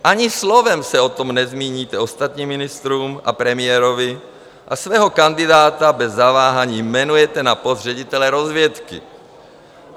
Ani slovem se o tom nezmíníte ostatním ministrům a premiérovi a svého kandidáta bez zaváhání jmenujete na post ředitele rozvědky.